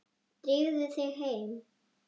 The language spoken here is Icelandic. Drífðu þig heim.